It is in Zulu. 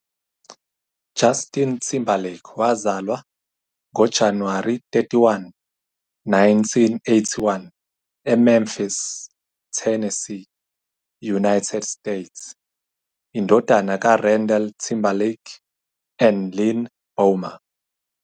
Justin Timberlake wazalwa ngo-January 31, 1981 e Memphis, Tennessee, United States- indodana ka Randall Timberlake and Lynn Bomar.